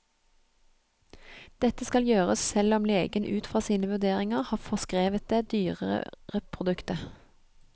Dette skal gjøres selv om legen ut fra sine vurderinger har forskrevet det dyrere produktet.